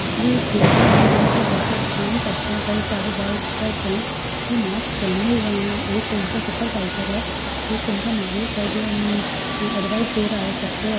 ये एक बिल्डिंग है यहाँ पे वर्कर्स काम करते है कई सारे वर्कर्स है जो मास्क पहने हुए है एक उनका मालिक है जो एडवाइस दे रहा है सबको।